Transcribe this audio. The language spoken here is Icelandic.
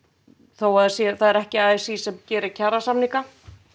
þó að það sé það er ekki a s í sem gerir kjarasamninga